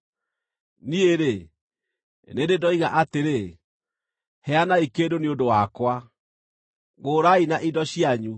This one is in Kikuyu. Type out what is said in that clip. Niĩ-rĩ, nĩ ndĩ ndoiga atĩrĩ: ‘Heanai kĩndũ nĩ ũndũ wakwa, ngũũrai na indo cianyu,